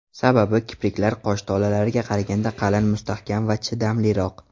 Sababi kipriklar qosh tolalariga qaraganda qalin, mustahkam va chidamliroq.